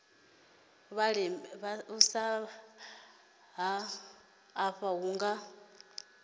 ha maḓi afha hu nga